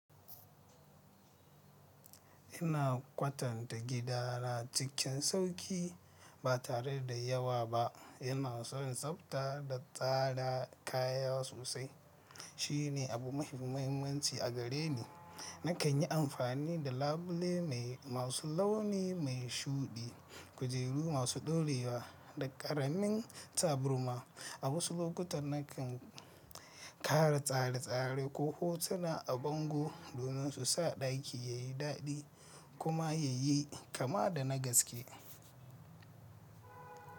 Ina kwatanta gidana cikin sauƙi ba tare da yawa ba. Ina son tsafta da tsara kaya sosai. Shi ne abu mafi muhimmanci a gare ni. Nakan yi amfani da labule masu launi mai shuɗi, kujeru masu ɗorewa da ƙaramin taburma. A wasu lokutan nakan ƙara tsare-tsare ko hotuna a bango domin su sa ɗaki yayi daɗi kuma yayi kama da na gaske.